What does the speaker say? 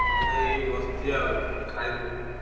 ହଁ ଭାଇ ଏଇ ବସିଛି ଆଉ ଖାଇମି ବୋଲି।